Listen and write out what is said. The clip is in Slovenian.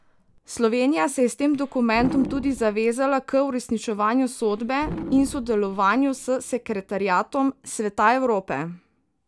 Slovenija se je s tem dokumentom tudi zavezala k uresničevanju sodbe in sodelovanju s sekretariatom Sveta Evrope.